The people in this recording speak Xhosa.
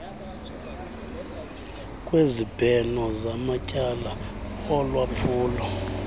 kwezibheno zamatyala olwaphulo